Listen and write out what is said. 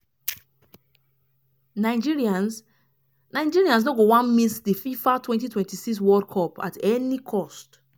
nigerians nigerians no go wan miss di fifa 2026 world cup at any cost.